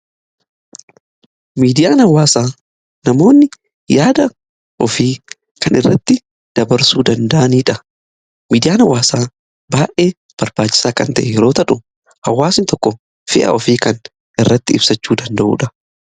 Miidiyaan hawaasaa namoonni yaada ofii kan irratti dabarsuu danda'aniidha . Miidiyaan hawaasaa baay'ee barbaacisaa kan ta'e yeroo ta'u hawaasni tokko ofii kan irratti ibsachuu danda'uudha.